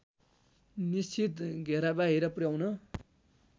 निश्चित घेराबाहिर पुर्‍याउन